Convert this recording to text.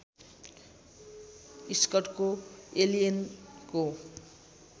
स्कटको एलियनको